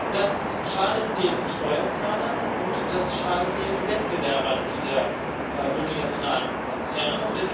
Das schadet den Steuerzahlern und das schadet den Wettbewerbern dieser multinationalen Konzerne.